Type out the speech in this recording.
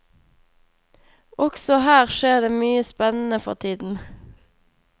Også her skjer det mye spennende for tiden.